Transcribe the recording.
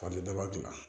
Ka di daba dilan